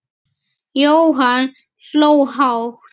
Jóhann hló hátt.